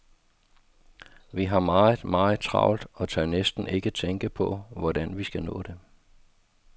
Vi har meget, meget travlt og tør næsten ikke tænke på, hvordan vi skal nå det.